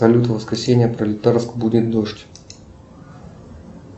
салют в воскресенье пролетарск будет дождь